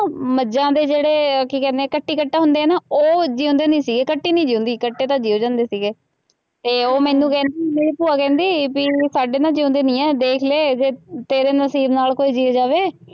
ਮੱਝਾਂ ਦੇ ਜਿਹੜੇ ਕੀ ਕਹਿੰਦੇ ਆ ਕੱਟੀ ਕੱਟਾ ਹੁੰਦੇ ਆ ਨਾ ਉਹ ਜਿਉਂਦੇ ਨਹੀਂ ਸੀਗੇ, ਕੱਟੀ ਨਹੀਂ ਜਿਉਂਦੀ, ਕੱਟੇ ਤਾਂ ਜਿਉਂ ਜਾ ਜਾਂਦੇ ਸੀਗੇ ਅਤੇ ਉਹ ਮੈਨੂੰ ਕਹਿੰਦੀ, ਮੇਰੀ ਭੂਆ ਕਹਿੰਦੀ ਬਈ ਹੁਣ ਸਾਡੇ ਨਾ ਜਿਉਂਦੇ ਨਹੀਂ ਹੈ, ਦੇ਼ਖ ਲੈ, ਜੇ ਤੇਰੇ ਨਸੀਬ ਨਾਲ ਕੋਈ ਜੀ ਜਾਵੇ।